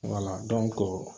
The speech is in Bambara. Wala